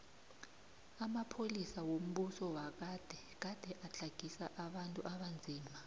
amapolisa wombuso wagade gade atlagisa abantu abanzima